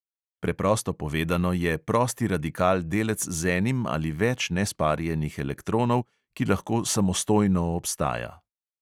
Preprosto povedano je prosti radikal delec z enim ali več nesparjenih elektronov, ki lahko samostojno obstaja.